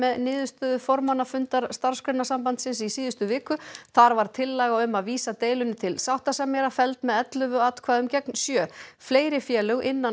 niðurstöðu formannafundar Starfsgreinasambandsins í síðustu viku þar var tillaga um að vísa deilunni til sáttasemjara felld með ellefu atkvæðum gegn sjö fleiri félög innan